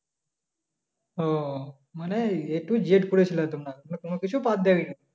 ও মানে a to z করে ফেললে তোমরা কোনো কিছু বাদ দেওনি